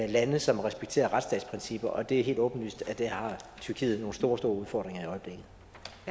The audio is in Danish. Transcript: i lande som respekterer retsstatsprincipper og det er helt åbenlyst at der har tyrkiet nogle store store udfordringer